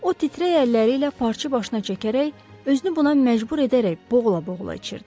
O titrək əlləri ilə parçanı başına çəkərək, özünü buna məcbur edərək boğula-boğula içirdi.